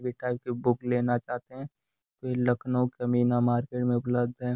भी टाइप की बुक लेना चाहते हैं तो ये लखनऊ कैमीना मार्केट में उपलब्ध है।